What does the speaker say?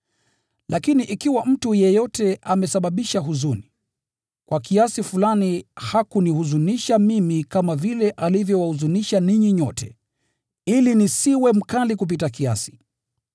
Lakini ikiwa mtu yeyote amesababisha huzuni, kwa kiasi fulani hakunihuzunisha mimi kama vile alivyowahuzunisha ninyi nyote, ili nisiwe mkali kupita kiasi.